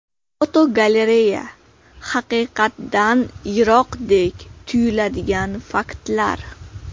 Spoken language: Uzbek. Fotogalereya: Haqiqatdan yiroqdek tuyuladigan faktlar.